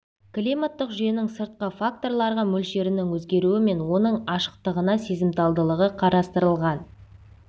климаттық жүйенің сыртқы факторларға мөлшерінің өзгеруі мен оның ашықтығына сезімталдығы қарастырылған